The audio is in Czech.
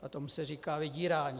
A tomu se říká vydírání.